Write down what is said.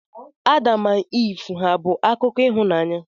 Adam na Iv hà bụ akụkọ ịhụnanya?